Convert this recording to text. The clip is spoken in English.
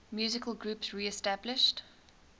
musical groups reestablished